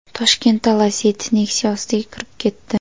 Toshkentda Lacetti Nexia ostiga kirib ketdi.